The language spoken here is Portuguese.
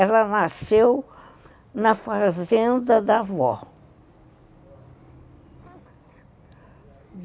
Ela nasceu na fazenda da avó.